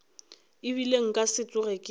ebile nka se tsoge ke